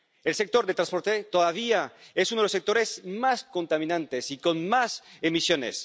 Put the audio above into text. El sector del transporte todavía es uno de los sectores más contaminantes y con más emisiones.